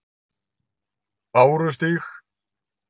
Bárustíg